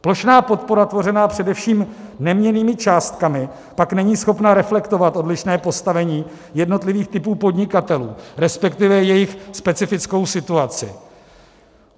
Plošná podpora tvořená především neměnnými částkami pak není schopna reflektovat odlišné postavení jednotlivých typů podnikatelů, respektive jejich specifickou situaci.